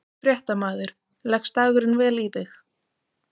Fréttamaður: Leggst dagurinn vel í þig?